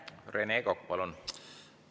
Rene Kokk, palun!